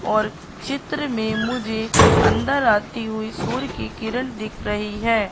और चित्र में मुझे अंदर आती हुई सूर्य की किरण दिख रही है।